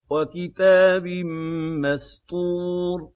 وَكِتَابٍ مَّسْطُورٍ